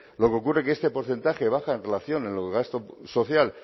lo que ocurre que este porcentaje baja en relación el gasto social